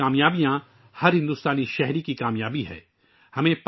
ہندوستان کی کامیابیاں ہر ہندوستانی کی کامیابی ہے